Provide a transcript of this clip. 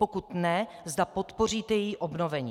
Pokud ne, zda podpoříte její obnovení.